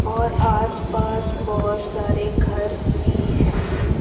और आस पास बहोत सारे घर भी है।